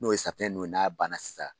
N'o ye safinɛ ninnu ye n'a banna sisan